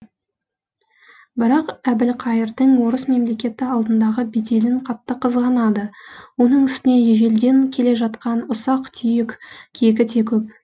барақ әбілқайырдың орыс мемлекеті алдындағы беделін қатты қызғанады оның үстіне ежелден келе жатқан ұсақ түйек кегі де көп